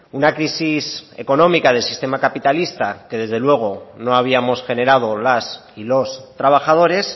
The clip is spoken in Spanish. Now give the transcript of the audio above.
una crisis económica del sistema capitalista que desde luego no habíamos generado las y los trabajadores